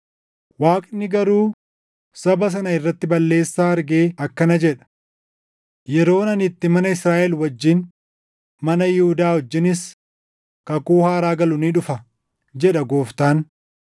Waaqni garuu saba sana irratti balleessaa argee akkana jedha; “Yeroon ani itti mana Israaʼel wajjin, mana Yihuudaa wajjinis, kakuu haaraa galu ni dhufa jedha Gooftaan.